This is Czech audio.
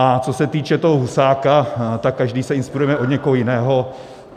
A co se týče toho Husáka, tak každý se inspirujeme od někoho jiného.